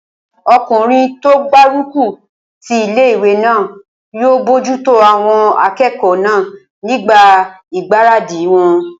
Ọkùnrin tó gbárùkù ti ilé-ìwé náà yóò bojútó àwọn akẹ́kọ̀ọ́ náà nígbà ìgbáradì wọn